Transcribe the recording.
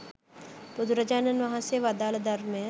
බුදුරජාණන් වහන්සේ වදාළ ධර්මය